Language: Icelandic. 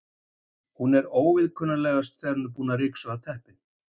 Hún er óviðkunnanlegust þegar hún er að ryksuga teppin.